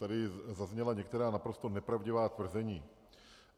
Tady zazněla některá naprosto nepravdivá tvrzení.